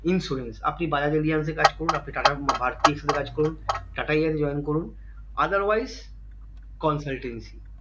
insurance আপনি Bajaj Allianz এ কাজ করুন আপনি টাটা ভারতী insurance কাজ করুন টাটা এই join করুন otherwise consultancy